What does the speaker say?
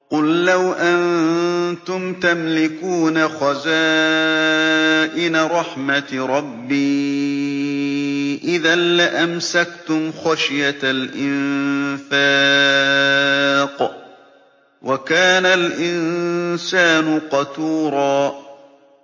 قُل لَّوْ أَنتُمْ تَمْلِكُونَ خَزَائِنَ رَحْمَةِ رَبِّي إِذًا لَّأَمْسَكْتُمْ خَشْيَةَ الْإِنفَاقِ ۚ وَكَانَ الْإِنسَانُ قَتُورًا